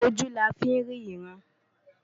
Ojú la fí ń rí ìran.